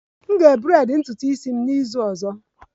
M ga-braid ntutu isi m n'izu ọzọ